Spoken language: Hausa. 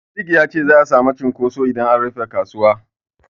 Sadik ya ce za'a samu cunkoso idan an rufe kasuwa.